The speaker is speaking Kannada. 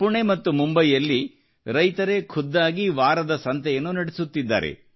ಪುಣೆ ಮತ್ತು ಮುಂಬಯಿಯಲ್ಲಿ ರೈತರೇ ವಾರದ ಸಂತೆಯನ್ನು ಖುದ್ದಾಗಿ ನಡೆಸುತ್ತಿದ್ದಾರೆ